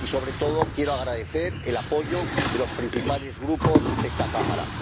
Y, sobre todo, quiero agradecer el apoyo de los principales Grupos de esta Cámara.